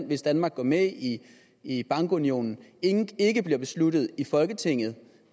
hvis danmark går med i i bankunionen ikke bliver besluttet i folketinget